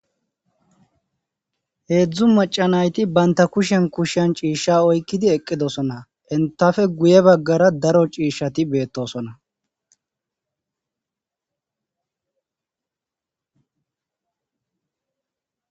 heedzdzu macanayti baynta kushen kushan ciishsha oykkidi eqqidosona entafe guye baggara daro ciishshati beettosona